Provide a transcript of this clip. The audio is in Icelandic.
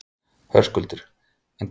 Höskuldur: En hvers vegna ert þú hér?